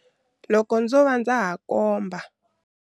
Loko ndzo va ndza ha komba.